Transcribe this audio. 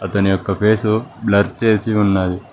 అతని యొక్క face blur చేసి ఉన్నది.